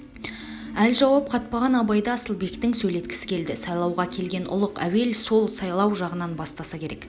әл жауап қатпаған абайды асылбектің сөйлеткісі келді сайлауға келген ұлық әуел сол сайлау жағынан бастаса керек